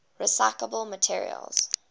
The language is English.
recyclable materials